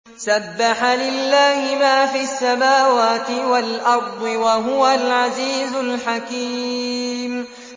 سَبَّحَ لِلَّهِ مَا فِي السَّمَاوَاتِ وَالْأَرْضِ ۖ وَهُوَ الْعَزِيزُ الْحَكِيمُ